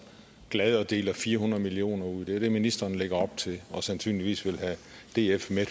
glad at dele fire hundrede million kroner ud det er det ministeren lægger op til og sandsynligvis vil have df med